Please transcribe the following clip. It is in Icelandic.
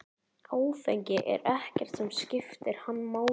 Áfengi er ekkert sem skiptir hann máli.